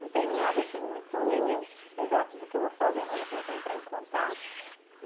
Não tenho nada assim muito exato do que eu vou fazer, mas vou começar a entrar em contato.